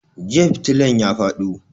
Jiya fitilan ya fado